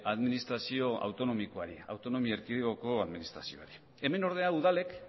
administrazio autonomikoari autonomi erkidegoko administrazioari hemen ordea udalek